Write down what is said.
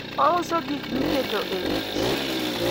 oiso gik miketo e wich